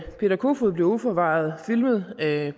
peter kofod bliver uforvarende filmet af